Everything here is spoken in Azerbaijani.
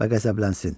Və qəzəblənsin.